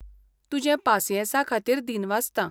तुजे पासियेंसाखातीर दिनसवासतां.